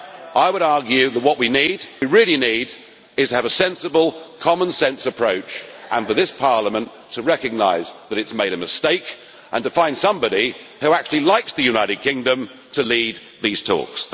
I would argue that what we really need is to have a sensible, common sense approach, and for this Parliament to recognise that it has made a mistake and to find somebody who actually likes the United Kingdom to lead these talks.